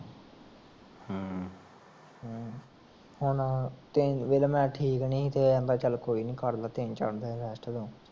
ਹੁਣ ਦੇਖਲਾ ਮੈਂ ਠੀਕ ਨਈਂ, ਤੇ ਆਂਦਾ ਚਲ ਕੋਈ ਨੀ ਕਰਲਾ ਤਿੰਨ ਚਾਰ ਦਿਨ rest ਤੂੰ